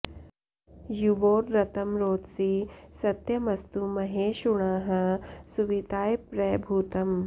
युवोरृतं रोदसी सत्यमस्तु महे षु णः सुविताय प्र भूतम्